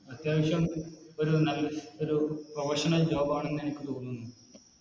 അത്യാവശ്യം ഒരു എന്നാണ് ഒരു Professional job ആണെന്നെനിക്ക് തോന്നുന്നു